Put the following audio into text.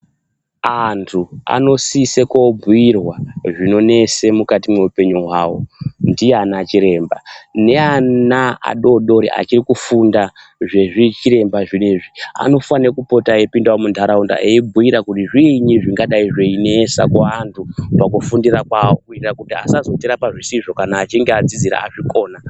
Antu anosisa koobhuirwa zvinonesa mukati mweupenyu hwavo ndiana chiremba. Neana adoodori achiri kufunda zvezvichiremba zvinezvi, anofanirwa kupota epinda muntaraunda veibhura kuti zviinyi zvinonesa kuantu mukufundira kwawo kuitira kuti asazotirapa zvisizvo kana achinge adzidzira azvikona.